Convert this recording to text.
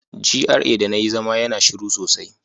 GRA da na yi zama yana shiru sosai.